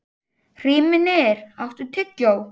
Hrímnir, áttu tyggjó?